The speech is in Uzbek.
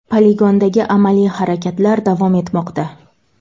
Poligondagi amaliy harakatlar davom etmoqda.